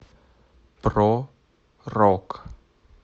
про рок